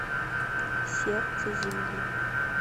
сердце земли